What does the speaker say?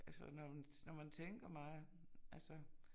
Altså når man når man tænker meget altså